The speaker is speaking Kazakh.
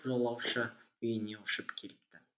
жолаушы үйіне ұшып келіпті